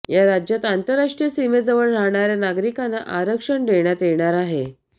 या राज्यात आंतरराष्ट्रीय सीमेजवळ राहाणाऱ्या नागरिकांना आरक्षण देण्यात येणार आहे